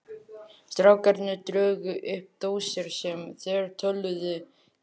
Strákarnir drógu upp dósir sem þeir töluðu í.